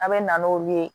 A bɛ na n'olu ye